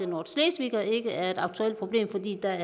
nordschleswiger ikke er et aktuelt problem fordi der